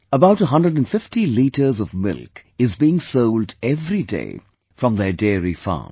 About 150 litres of milk is being sold every day from their dairy farm